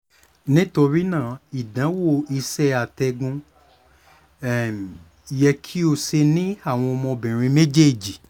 nitori naa idanwo iṣẹ atẹgun yẹ ki o ṣe ni awọn ọmọbinrin mejeeji